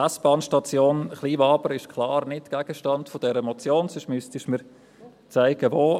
Die S-Bahnstation Kleinwabern ist klar nicht Gegenstand der Motion, sonst müsstest du mir zeigen, wo.